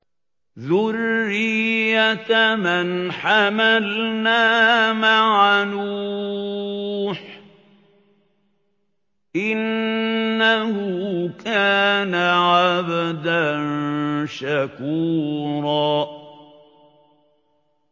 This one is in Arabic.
ذُرِّيَّةَ مَنْ حَمَلْنَا مَعَ نُوحٍ ۚ إِنَّهُ كَانَ عَبْدًا شَكُورًا